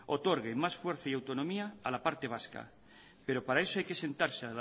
otorgue más fuerza y autonomía a la parte vasca pero para eso hay que sentarse